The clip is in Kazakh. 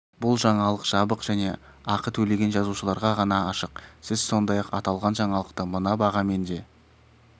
бұл жаңалық жабық және ақы төлеген жазылушыларға ғана ашық сіз сондай-ақ аталған жаңалықты мына бағамен де